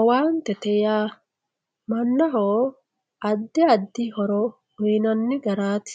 owaantete yaa mannaho addi addi horo uyinanni garaati